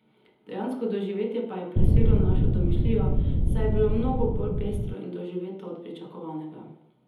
Dejansko doživetje pa je preseglo našo domišljijo, saj je bilo mnogo bolj pestro in doživeto od pričakovanega.